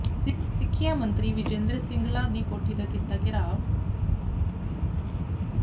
ਸਿੱਖਿਆ ਮੰਤਰੀ ਵਿਜੇਇੰਦਰ ਸਿੰਗਲਾ ਦੀ ਕੋਠੀ ਦਾ ਕੀਤਾ ਘੇਰਾਵ